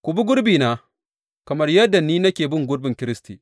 Ku bi gurbina, kamar yadda ni nake bin gurbin Kiristi.